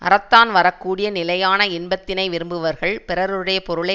அறத்தான் வரக்கூடிய நிலையான இன்பத்தினை விரும்புவர்கள் பிறருடைய பொருளை